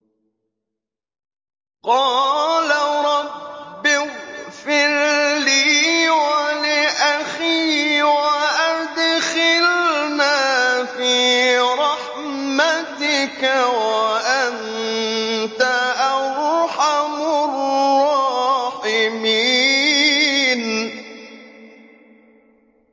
قَالَ رَبِّ اغْفِرْ لِي وَلِأَخِي وَأَدْخِلْنَا فِي رَحْمَتِكَ ۖ وَأَنتَ أَرْحَمُ الرَّاحِمِينَ